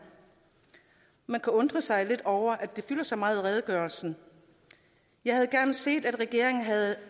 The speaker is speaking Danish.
man kan undre sig lidt over at det fylder så meget i redegørelsen jeg havde gerne set at regeringen havde